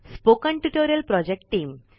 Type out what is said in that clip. spoken tutorial project team